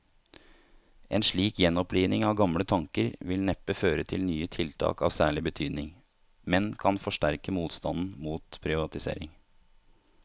En slik gjenoppliving av gamle tanker vil neppe føre til nye tiltak av særlig betydning, men kan forsterke motstanden mot privatisering.